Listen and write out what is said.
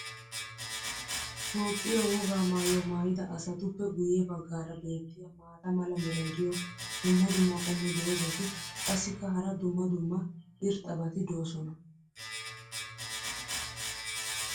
toophphiya wogaa maayuwa maayida asatuppe guye bagaara beetiya maata mala meray diyo dumma dumma qommo dozzati qassikka hara dumma dumma irxxabati doosona.